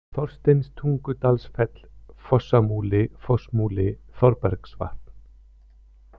Þorsteinstungudalsfell, Fossamúli, Fossmúli, Þorbergsvatn